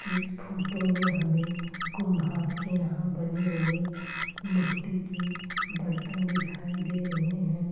इस फोटो मे हमें कुम्हार के यहाँ बने हुए मिट्टी के बर्तन दिखाई दे रहे हैं।